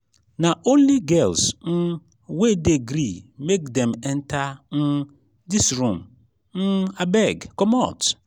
na only girls um we dey gree make dem enta um dis room um abeg comot.